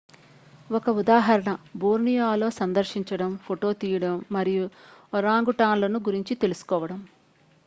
ఒక ఉదాహరణ బోర్నియోలో సందర్శించడం ఫోటో తీయడం మరియు ఒరాంగుటాన్లను గురించి తెలుసుకోవడం